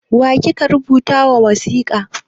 Wa kike rubuta ma wasika?